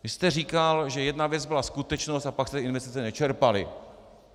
Vy jste říkal, že jedna věc byla skutečnost, a pak jste investice nečerpali.